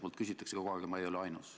Minult küsitakse kogu aeg ja ma ei ole ainus.